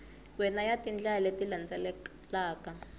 wana ya tindlela leti landzelaka